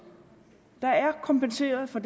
der er kompenseret for